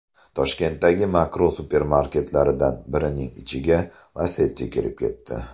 Toshkentdagi Makro supermarketlaridan birining ichiga Lacetti kirib ketdi .